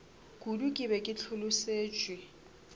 kudu ke be ke hlolosetšwe